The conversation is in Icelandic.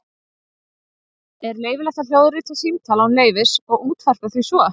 Er leyfilegt að hljóðrita símtal án leyfis og útvarpa því svo?